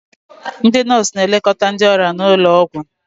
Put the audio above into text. ndị nọọsụ na-elekọta ndị ọrịa n'ụlọ ọgwụ